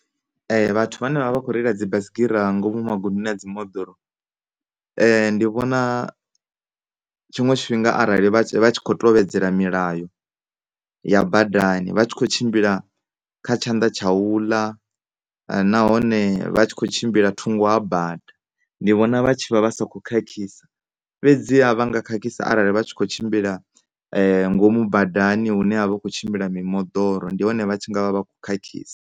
Vhathu vhane vha vha vha kho reila dzibaisigira nga ngomu magondoni a dzi moḓoro ndi vhona tshiṅwe tshifhinga arali vha tshi, vha tshi kho tevhedzela mulayo ya badani vha tshi kho tshimbila kha tshanḓa tsha tsha u ḽa nahone vha tshi kho tshimbila thungo ha bada. Ndi vhona vha tshi vha vha sa kho khakhisa, fhedzi ha vha nga khakhisa arali vha thsi kho tshimbila ngomu badani hune havha hu kho tshimbila mimoḓoro ndi hone hune vha ngavha vha kho khakhisa.